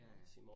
Ja ja